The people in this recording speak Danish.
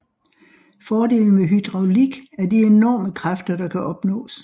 Fordelen ved hydraulik er de enorme kræfter der kan opnås